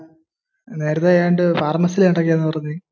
നേരത്തെ ഏതാണ്ട് ഫർമസിയിൽ എന്തൊക്കെയാ പറഞ്?